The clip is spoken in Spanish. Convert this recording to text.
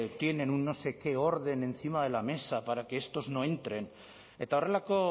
tienen un no sé qué orden encima de la mesa para que estos no entren eta horrelako